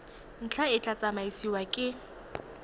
ntlha e tla tsamaisiwa ke